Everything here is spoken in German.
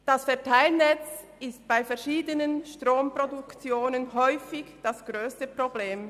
Das Verteilnetz ist bei verschiedenen Stromproduktionen häufig das grösste Problem.